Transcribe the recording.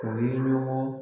O ye ɲɔgɔn